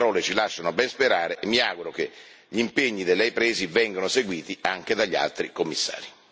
Le sue parole ci lasciano ben sperare e mi auguro che gli impegni da lei presi vengano seguiti anche dagli altri Commissari.